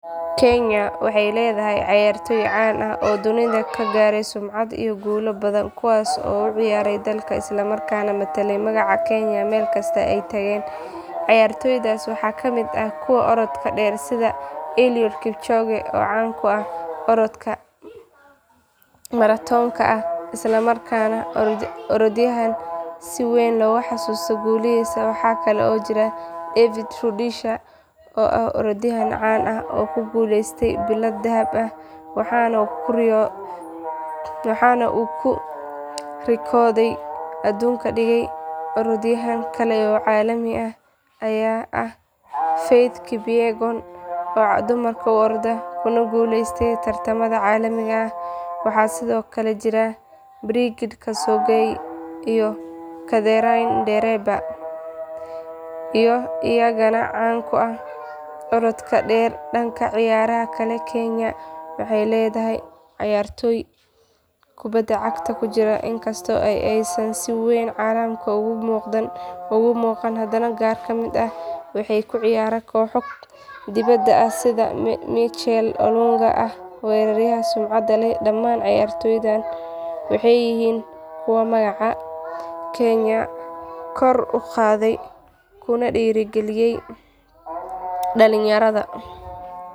Kenya waxa ay leedahay cayaartooy caan ah oo dunida ka gaaray sumcad iyo guulo badan kuwaas oo u ciyaaray dalka islamarkaana metelay magaca kenya meel kasta oo ay tageen cayaartooydaas waxaa kamid ah kuwa orodka dheer sida eliud kipchoge oo caan ku ah orodka maratoonka ah isla markaana ah orodyahan si weyn loogu xasuusto guulihiisa waxaa kale oo jira david rudisha oo ah orodyahan caan ah oo ku guuleystay bilado dahab ah waxaana uu rikoodhyo aduun dhigay orodyahan kale oo caalami ah ayaa ah faith kipyegon oo dumarka u orda kuna guuleysatay tartamada caalamiga ah waxaa sidoo kale jira brigid kosgei iyo catherine ndereba oo iyagana caan ku ah orodka dheer dhanka ciyaaraha kale kenya waxay leedahay cayaartooy kubadda cagta ku jira inkasta oo aysan si weyn caalamka uga muuqan hadana qaar kamid ah waxay ku ciyaaraan kooxo dibadda ah sida michael olunga oo ah weeraryahan sumcad leh dhammaan cayaartooydan waxay yihiin kuwa magaca kenya kor u qaaday kuna dhiirigeliyay dhalinyarada.